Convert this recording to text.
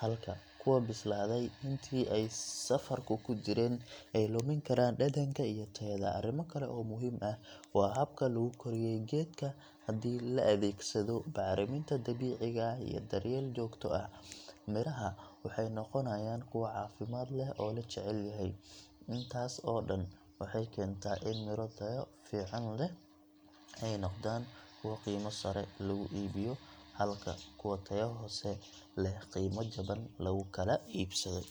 halka kuwa bislaaday intii ay safarka ku jireen ay lumin karaan dhadhanka iyo tayada. Arrimo kale oo muhiim ah waa habka lagu koriyay geedka – haddii la adeegsado bacriminta dabiiciga ah iyo daryeel joogto ah, miraha waxay noqonayaan kuwo caafimaad leh oo la jecel yahay. Intaas oo dhan waxay keentaa in miro tayo fiican leh ay noqdaan kuwa qiimo sare lagu iibiyo, halka kuwa tayo hoose leh qiimo jaban lagu kala iibsado.